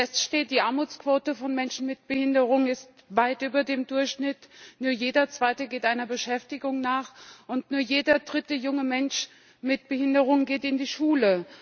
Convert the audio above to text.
Fest steht Die Armutsquote von Menschen mit Behinderungen ist weit über dem Durchschnitt, nur jeder Zweite geht einer Beschäftigung nach, und nur jeder dritte junge Mensch mit Behinderung geht in die Schule.